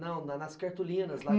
Não, nas cartolinas, lá.